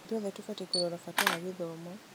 Ithuothe tũbatiĩ kũrora bata wa gĩthomo.